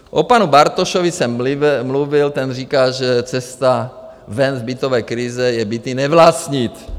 O panu Bartošovi jsem mluvil, ten říká, že cesta ven z bytové krize je byty nevlastnit.